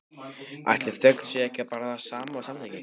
Ætli þögn sé ekki bara það sama og samþykki?